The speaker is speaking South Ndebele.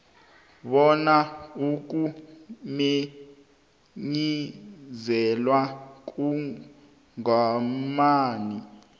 bona ukumenyezelwa komgomani